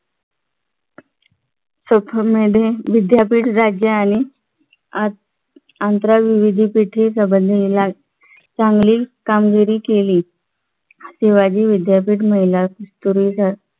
विद्यापीठ राज्य आणि आंत्र विविध संबंधेपेठे आणि चांगली कामगिरी केली शिवाजी विद्यापीठ महिला पूर्वीसारख्या